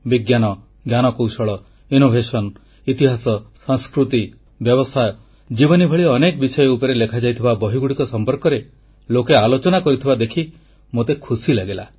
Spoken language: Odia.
ବିଜ୍ଞାନ ପ୍ରଯୁକ୍ତି ଇତିହାସ ସଂସ୍କୃତି ବ୍ୟବସାୟ ଜୀବନୀ ଭଳି ଅନେକ ବିଷୟ ଉପରେ ଲେଖାଯାଇଥିବା ବହିଗୁଡ଼ିକ ସମ୍ପର୍କରେ ଲୋକେ ଆଲୋଚନା କରୁଥିବା ଦେଖି ମୋତେ ଖୁସି ଲାଗିଲା